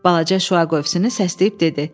Balaca şüa qövsünü səsləyib dedi: